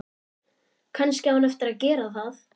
Kannski á hún eftir að gera það.